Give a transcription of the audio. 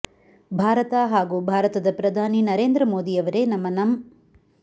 ಭಾರತ ಹಾಗೂ ಭಾರತದ ಪ್ರಧಾನಿ ನರೇಂದ್ರ ಮೋದಿ ಅವರೇ ನಮ್ಮ ನಂ